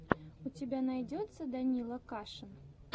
у тебя найдется данила кашин